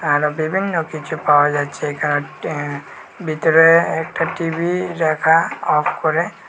আরও বিভিন্ন কিছু পাওয়া যাচ্ছে এখান এ ভিতরে একটা টি_ভি রাখা অফ করে।